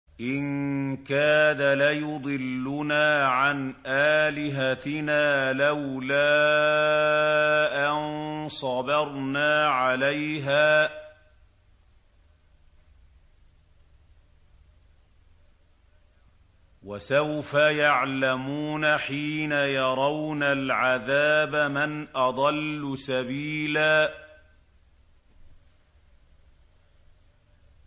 إِن كَادَ لَيُضِلُّنَا عَنْ آلِهَتِنَا لَوْلَا أَن صَبَرْنَا عَلَيْهَا ۚ وَسَوْفَ يَعْلَمُونَ حِينَ يَرَوْنَ الْعَذَابَ مَنْ أَضَلُّ سَبِيلًا